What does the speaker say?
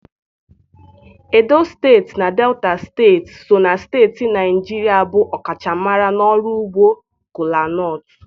Edo steeti na Delta steeti so na steeti Naịjirịa bụ ọkachamara n'ọrụ ugbo kola-nut.